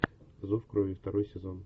зов крови второй сезон